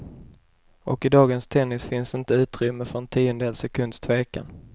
Och i dagens tennis finns inte utrymme för en tiondels sekunds tvekan.